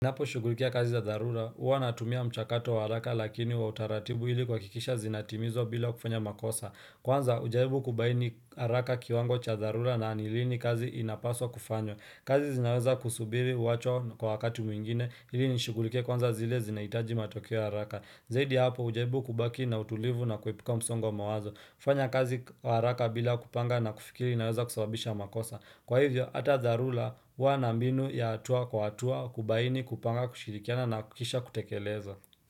Napo shugulikia kazi za dharura, huwa natumia mchakato wa haraka lakini wa utaratibu ili kuhakikisha zinatimizwa bila kufanya makosa. Kwanza ujaribu kubaini haraka kiwango cha dharura na ni lini kazi inapaswa kufanywa. Kazi zinaweza kusubiri wacho kwa wakati mwingine ili nishugulikie kwanza zile zinahitaji matokeo haraka. Zaidi ya hapo ujaribu kubaki na utulivu na kuepuka msongo wa mawazo. Fanya kazi haraka bila kupanga na kufikiri naweza kusababisha makosa. Kwa hivyo, ata dharula huwa na mbinu ya atua kwa atua kubaini kupanga kushirikiana na kisha kutekeleza.